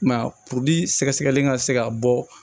I m'a ye puruke sɛgɛsɛgɛli ka se ka bɔ